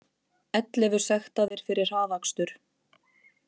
Ellefu sektaðir fyrir hraðakstur